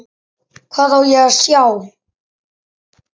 Hvað á ég að sjá?